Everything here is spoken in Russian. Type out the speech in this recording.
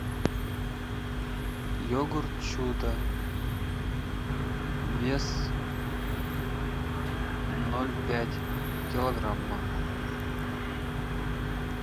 йогурт чудо вес ноль пять килограмма